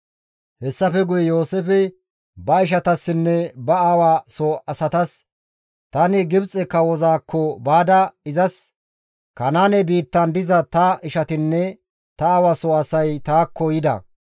Hessafe guye Yooseefey ba ishatassinne ba aawa soo asatas, «Tani Gibxe kawozaakko baada izas, ‹Kanaane biittan diza ta ishatinne ta aawa soo asay taakko yida.